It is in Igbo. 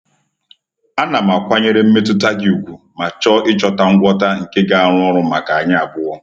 Ana m akwanyere mmetụta gị ùgwù ma chọọ ịchọta ngwọta nke ga-arụ ọrụ maka anyị abụọ.